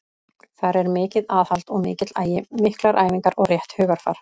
Þar er mikið aðhald og mikill agi, miklar æfingar og rétt hugarfar.